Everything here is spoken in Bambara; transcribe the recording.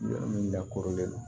Yɔrɔ min lakɔrɔnlen don